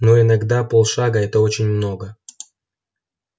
но иногда полшага это очень много